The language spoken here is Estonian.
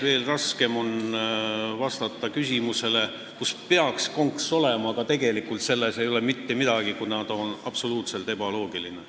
Veel raskem on vastata küsimusele, kus peaks konks olema, aga kus tegelikult ei ole mitte midagi, kuna see on absoluutselt ebaloogiline.